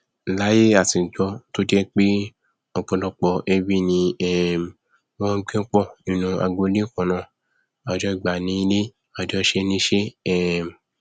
láíyé àtijọ tó jẹ pé ọpọlọpọ ẹbí ni um wọn ngbé pọ nínu agbolé kannáà àjọgbá ni ilẹ àjọṣe ni iṣẹ um